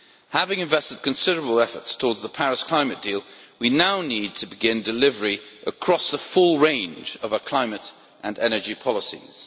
Having invested considerable efforts towards the Paris climate deal, we now need to begin delivery across the full range of our climate and energy policies.